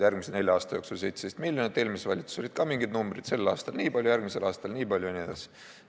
Järgmise nelja aasta jooksul on selleks 17 miljonit, eelmises valitsuses olid ka mingid numbrid, sel aastal nii palju, järgmisel aastal nii palju jne.